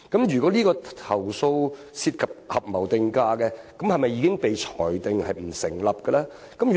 如果投訴涉及合謀定價，是否已經裁定這些投訴不成立呢？